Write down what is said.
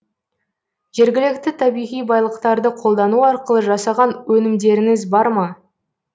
жергілікті табиғи байлықтарды қолдану арқылы жасаған өнімдеріңіз бар ма